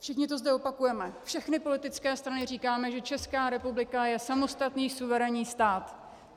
Všichni to zde opakujeme, všechny politické strany říkají, že Česká republika je samostatný suverénní stát.